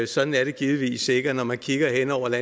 sådan er det givetvis ikke og når man kigger hen over